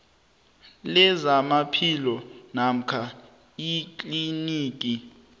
lezamaphilo namkha ikliniki